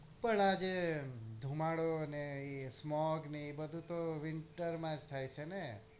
પણ આજે ધુમાડો ને ઈ smug ને એ બધું તો winter માં જ થાય છે ને